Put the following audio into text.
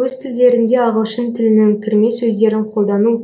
өз тілдерінде ағылшын тілінің кірме сөздерін қолдану